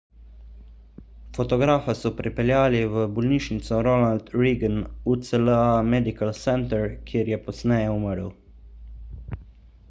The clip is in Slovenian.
fotografa so prepeljali v bolnišnico ronald reagan ucla medical center kjer je pozneje umrl